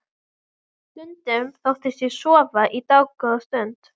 Stundum þóttist ég sofa í dágóða stund.